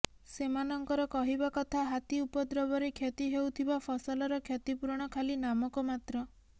ସେମାନଙ୍କର କହିବା କଥା ହାତୀ ଉପଦ୍ରବରେ କ୍ଷତି ହେଉଥିବା ଫସଲର କ୍ଷତିପୂରଣ ଖାଲି ନାମକ ମାତ୍ର